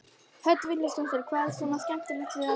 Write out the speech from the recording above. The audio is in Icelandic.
Hödd Vilhjálmsdóttir: Hvað er svona skemmtilegt við að dansa?